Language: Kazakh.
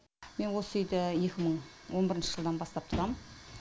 мен осы үйде екі мың он бірінші жылдан бастап тұрам